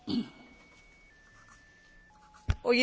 Hoy en día ha cambiado el concepto de familia.